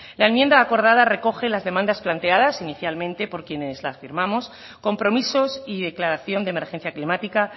la enmienda acordada recoge las demandas planteadas inicialmente por quienes las firmamos compromisos y declaración de emergencia climática